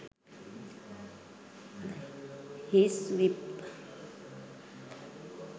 hiace vip